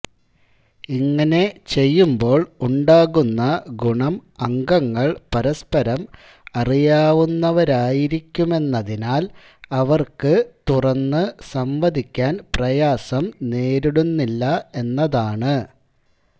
ഇങ്ങനെ ചെയ്യുമ്പോൾ ഉണ്ടാകുന്ന ഗുണം അംഗങ്ങൾ പരസ്പരം അറിയാവുന്നവരായിരിക്കുമെന്നതിനാൽ അവർക്ക് തുറന്ന് സംവദിക്കാൻ പ്രയാസം നേരിടുന്നില്ല എന്നതാണ്